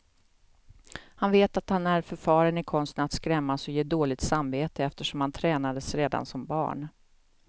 Han vet att han är förfaren i konsten att skrämmas och ge dåligt samvete, eftersom han tränades redan som barn.